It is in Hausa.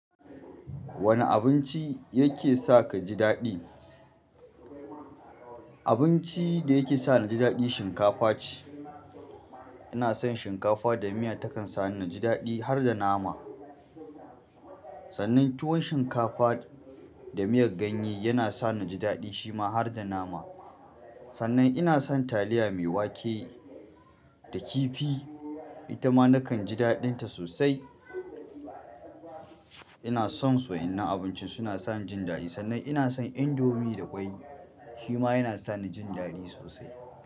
Wane abinci yake sa ka ji daɗi? Abinci da yake sa na ji daɗi shinkafa ce. Ina son shinkafa da miya takan sa ni na jidaɗi har da nama. Sannan tuwon shinkafa da miyar ganye yana sa ni jidaɗi, shi ma har da nama. Sannan ina son taliya mai wake da kifi itama nakan ji daɗinta sosai ina son su wa'innan abinci suna sani jin daɗi. Sannan ina son indomie da kwai shima yana sani jin daɗi sosai.